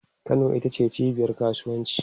Kano ita ce cibiyar kasuwanci